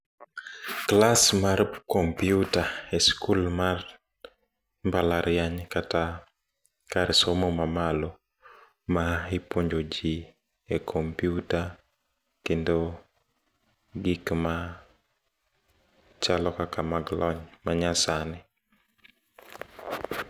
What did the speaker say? Class mar kompyuta e skul mar mbala riany kata kar somo mamalo, maipuonjo jii e kompyuta kendo gikma chalo kaka mag lony manyasani.